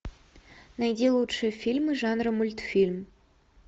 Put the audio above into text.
найди лучшие фильмы жанра мультфильм